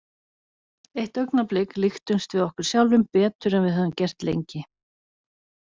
Eitt augnablik líktumst við okkur sjálfum betur en við höfum gert lengi.